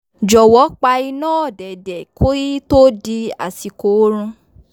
jọwọ pa iná òdẹ̀dẹ̀ ki to di àsìkò orun